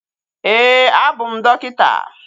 Ee, abụ m dọkịta